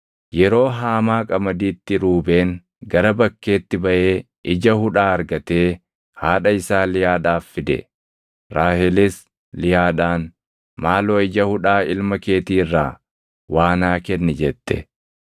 Yeroo haamaa qamadiitti Ruubeen gara bakkeetti baʼee ija hudhaa argatee haadha isaa Liyaadhaaf fide. Raahelis Liyaadhaan, “Maaloo ija hudhaa ilma keetii irraa waa naa kenni” jette.